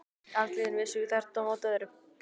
Andlitin vissu hvert á móti öðru.